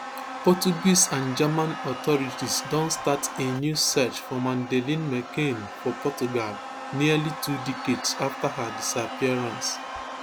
portuguese and german authorities don start a new search for madeleine mccann for portugal nearly two decades after her disappearance